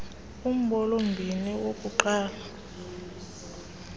lumbolo mbini okokuqala